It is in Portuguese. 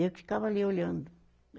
Eu que ficava ali olhando.